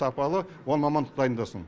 сапалы он мамандық дайындасын